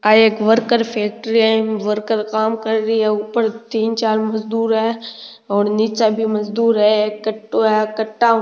आ एक worker factory है ईम वर्कर काम कर रिया है ऊपर तीन चार मजदुर है और निचे भी मजदूर है एक कट्टो है कटा ऊ --